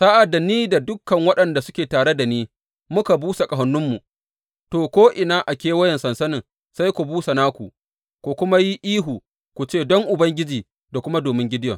Sa’ad da ni da dukan waɗanda suke tare da ni muka busa ƙahoninmu, to, ko’ina a kewayen sansanin sai ku busa naku ku kuma yi ihu, ku ce, Don Ubangiji da kuma domin Gideyon.’